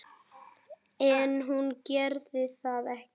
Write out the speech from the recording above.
En hún gerði það ekki.